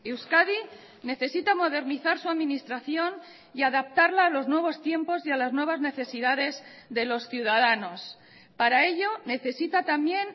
euskadi necesita modernizar su administración y adaptarla a los nuevos tiempos y a las nuevas necesidades de los ciudadanos para ello necesita también